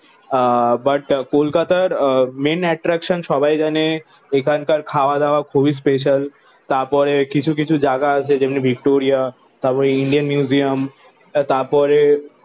আহ but কলকাতার ah main attraction সবাই জানে এখানকার খাওয়া-দাওয়া খুবই স্পেশাল। তারপরে কিছু কিছু জায়গা আছে যেমন ভিক্টোরিয়া তারপরে ইন্ডিয়ান মিউজিয়াম তারপরে